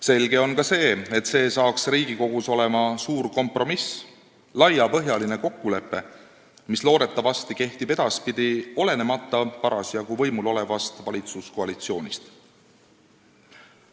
Selge on ka see, et see saaks Riigikogus olema suur kompromiss, laiapõhjaline kokkulepe, mis edaspidi loodetavasti kehtib parasjagu võimul olevast valitsuskoalitsioonist olenemata.